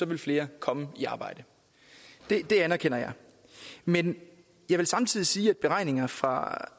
vil flere komme i arbejde det anerkender jeg men jeg vil samtidig sige at beregninger fra